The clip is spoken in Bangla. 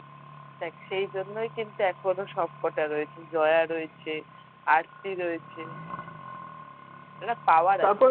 দেখ সেই জন্যই কিন্তু এখন সবকটা রয়েছে জয়া রয়েছে, আরতি রয়েছে একটা power আছে।